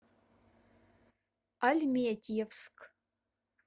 альметьевск